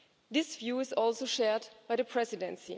This view is also shared by the Presidency.